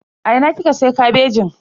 A ina kika siya kabejin?